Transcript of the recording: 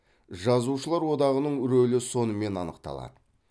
жазушылар одағының рөлі сонымен анықталады